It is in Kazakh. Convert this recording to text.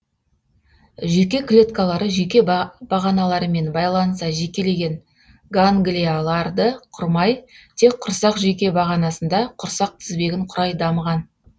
жүйке клеткалары жүйке бағаналарымен байланыса жекелеген ганглияларды құрмай тек құрсақ жүйке бағанасында құрсақ тізбегін құрай дамыған